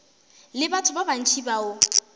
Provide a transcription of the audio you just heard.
le batho ba bantši bao